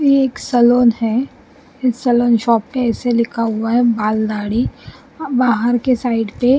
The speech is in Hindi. ये एक सलोन है इस सलोन शॉप पे ऐसे लिखा हुआ है बाल दाढ़ी बाहर के साइड पे --